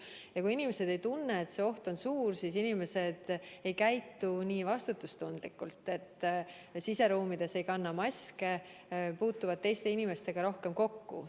Ja kui inimesed ei tunne, et see oht on suur, siis nad ei käitu vastutustundlikult, ei kanna siseruumides maske ja puutuvad teiste inimestega rohkem kokku.